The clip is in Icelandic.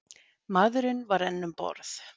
Maðurinn var enn um borð.